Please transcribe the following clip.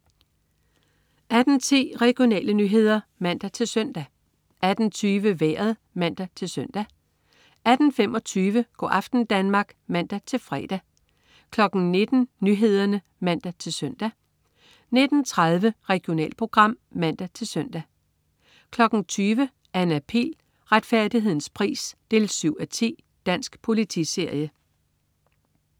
18.10 Regionale nyheder (man-søn) 18.20 Vejret (man-søn) 18.25 Go' aften Danmark (man-fre) 19.00 Nyhederne (man-søn) 19.30 Regionalprogram (man-søn) 20.00 Anna Pihl. Retfærdighedens pris 7:10. Dansk politiserie